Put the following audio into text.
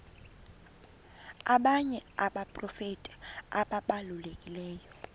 abanye abaprofeti ababalulekileyo